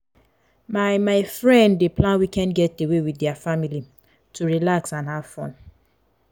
my my friend dey plan weekend getaway with their family to relax and have fun.